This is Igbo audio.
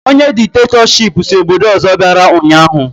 Ọnye dikitatọshipụ si obodo ọzọ bịara ụnyaahụ